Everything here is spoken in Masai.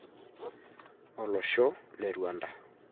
Olosho le Rwanda.